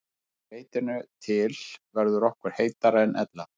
Að því leytinu til verður okkur heitara en ella.